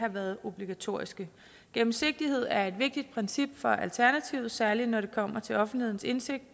været obligatoriske gennemsigtighed er et vigtigt princip for alternativet særlig når det kommer til offentlighedens indsigt